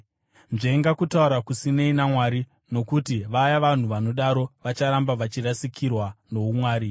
Nzvenga kutaura kusinei naMwari, nokuti vaya vanhu vanodaro vacharamba vachirasikirwa noumwari.